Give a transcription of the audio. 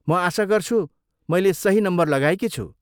म आशा गर्छु मैले सही नम्बर लगाएकी छु।